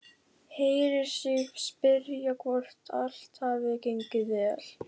Heyrir sig spyrja hvort allt hafi gengið vel.